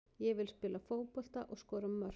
Ég vil spila fótbolta og skora mörk.